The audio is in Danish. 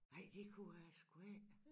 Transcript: Nej det kunne jeg sgu ikke